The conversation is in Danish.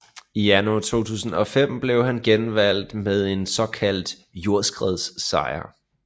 I januar 2005 blev han genvalgt med en såkaldt jordskredssejr